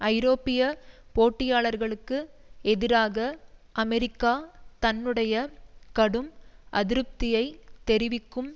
ஐரோப்பிய போட்டியாளர்களுக்கு எதிராக அமெரிக்கா தன்னுடைய கடும் அதிருப்தியைத் தெரிவிக்கும்